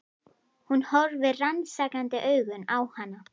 Hún horfir rannsakandi augum á hana.